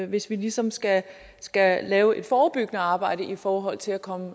hvis vi ligesom skal skal lave et forebyggende arbejde i forhold til at komme